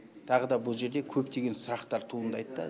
тағы да бұл жерде көптеген сұрақтар туындайды да